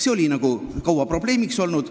See oli kaua probleemiks olnud.